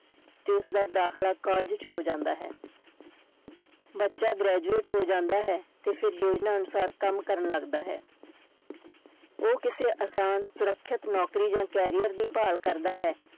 ਤੇ ਉਸਦਾ ਦਾਖਲਾ college ਚ ਹੋ ਜਾਂਦਾ ਹੈ ਬੱਚਾ graduate ਹੋ ਜਾਂਦਾ ਹੈ ਤੇ ਫਿਰ ਯੋਜਨਾ ਅਨੁਸਾਰ ਕੰਮ ਕਰਨ ਲੱਗਦਾ ਹੈ ਉਹ ਕਿਸੇ ਆਸਾਨ ਸੁਰੱਖਿਅਤ ਨੌਕਰੀ ਜਾਂ career ਦੀ ਭਾਲ ਕਰਦਾ ਹੈ।